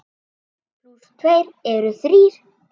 Einn plús tveir eru þrír.